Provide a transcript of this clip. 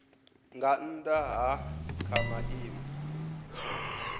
nga nnda ha kha maimo